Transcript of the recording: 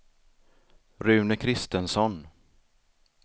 Rune Kristensson